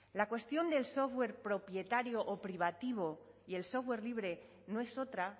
la cuestión del software propietario o privativo y el software libre no es otra